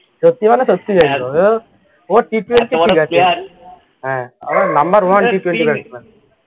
সত্যি মানে সত্যি ও T twenty ঠিকাছে হ্যাঁ আবার number one T twenty batsman